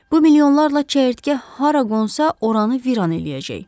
Bu milyonlarla çəyirtkə hara qonsa, oranı viran eləyəcək.